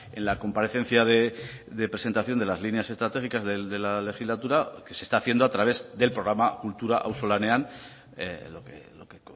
en la comparecencia de presentación de las líneas estratégicas de la legislatura que se está haciendo a través del programa kultura auzolanean lo que